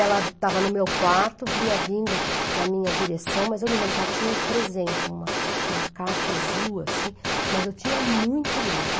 Ela estava no meu quarto, vinha vindo na minha direção, mas eu me lembro que ela tinha um presente, uma uma caixa azul assim, mas eu tinha muito medo.